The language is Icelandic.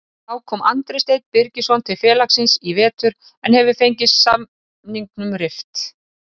Þá kom Andri Steinn Birgisson til félagsins í vetur en hefur fengið samningnum rift.